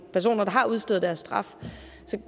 personer der har udstået deres straf